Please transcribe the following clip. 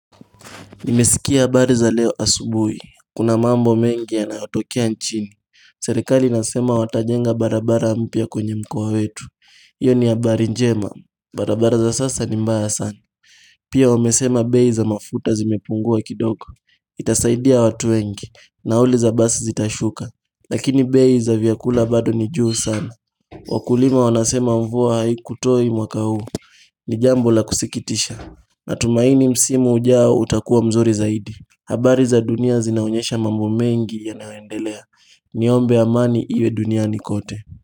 Nimesikia habari za leo asubui, kuna mambo mengi yanayotokea nchini Serikali inasema watajenga barabara mpya kwenye mkoa wetu Iyo ni abari njema, barabara za sasa ni mbaya sana Pia wamesema bei za mafuta zimepungua kidoko Itasaidia watu wengi, nauli za basi zitashuka Lakini bei za vyakula bado ni juu sana Wakulima wanasema mvua haikutoi mwaka huu ni jambo la kusikitisha Natumaini msimu ujao utakuwa mzuri zaidi habari za dunia zinaonyesha mambo mengi yanayoendelea Niombe amani iwe duniani kote.